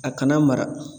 A kana mara